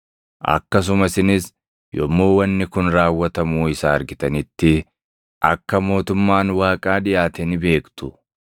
Akkasuma isinis yommuu wanni kun raawwatamuu isaa argitanitti akka mootummaan Waaqaa dhiʼaate ni beektu.